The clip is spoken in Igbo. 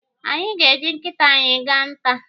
Anyị ga- eji nkịta anyị gaa nta.